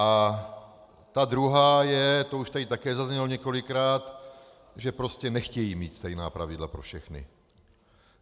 A ta druhá je - to už tady také zaznělo několikrát, že prostě nechtějí mít stejná pravidla pro všechny.